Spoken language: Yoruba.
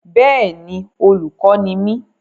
Bẹ́è ni, olùkọ́ ni mí.